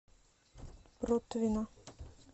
протвино